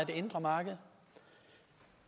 det indre marked